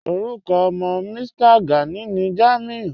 Orúkọ ọ̀mọ́ Mí̀stà Gánì ní Jámúì